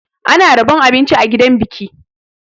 Ana rabon abinci a gidan biki.